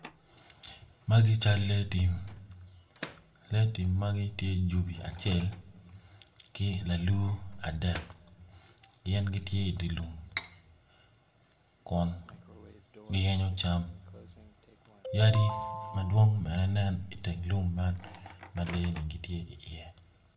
Magi cal lee tim lee tim magi tye jubi acel ki lalur adek gin gitye i dye lum kun giyenyo cam yadi madwong bene ginen i teng lum ma lee-ni gitye iye.